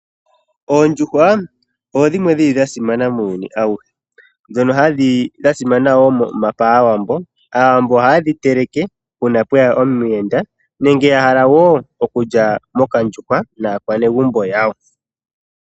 Oondjuhwa odho dhimwe dhili dhasimana muuyuni awuhe, ndhono dha simana paawambo. Aawambo oha yedhi teleke uuna pweya omuyenda nenge nenge yahala okulya ondjuhwa naakwanegumbo yawo.